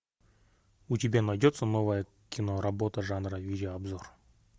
у тебя найдется новая киноработа жанра видеообзор